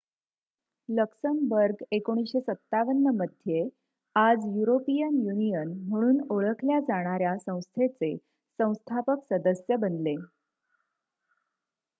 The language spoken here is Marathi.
लक्समबर्ग १९५७ मध्ये आज युरोपियन युनियन म्हणून ओळखल्या जाणाऱ्या संस्थेचे संस्थापक सदस्य बनले